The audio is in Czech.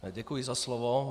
Děkuji za slovo.